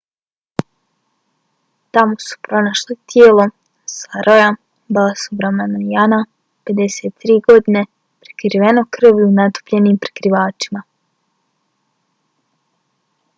tamo su pronašli tijelo saroja balasubramanijana 53 prekriveno krvlju natopljenim prekrivačima